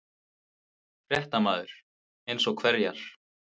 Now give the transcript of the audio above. Fréttamaður: Eins og hverjar?